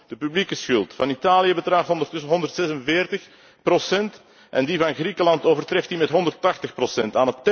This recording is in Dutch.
Kortom, de overheidsschuld van Italië bedraagt ondertussen 146 procent en die van Griekenland overtreft die met 180 procent.